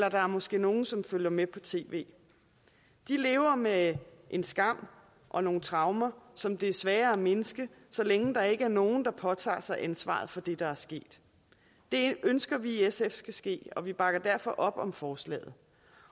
og der er måske nogle som følger med på tv de lever med en skam og nogle traumer som det er svært at mindske så længe der ikke er nogen der påtager sig ansvaret for det der er sket det ønsker vi i sf skal ske og vi bakker derfor op om forslaget